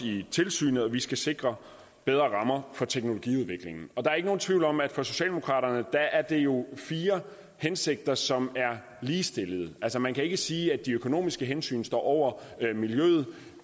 i tilsynet og vi skal sikre bedre rammer for teknologiudviklingen der er ikke nogen tvivl om at for socialdemokraterne er det jo fire hensigter som er ligestillede altså man kan ikke sige at de økonomiske hensyn står over miljøet